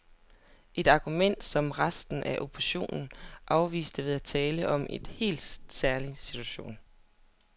Et argument, som resten af oppositionen afviste ved at tale om en helt særlig situation.